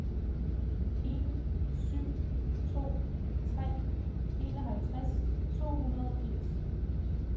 en syv to tre enoghalvtreds to hundrede og firs